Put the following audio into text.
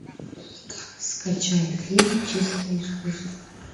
скачай фильм чистое искусство